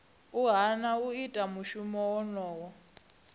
hana u ita mushumo wonoyo